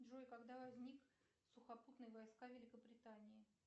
джой когда возник сухопутные войска великобритании